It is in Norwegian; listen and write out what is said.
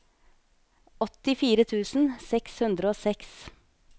åttifire tusen seks hundre og seks